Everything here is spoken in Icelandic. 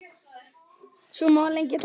Svo má lengi telja.